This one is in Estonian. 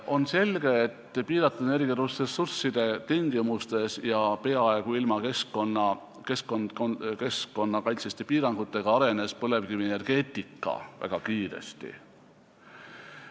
On selge, et piiratud energiaressursside tingimustes ja peaaegu ilma keskkonnakaitseliste piiranguteta arenes põlevkivienergeetika väga kiiresti.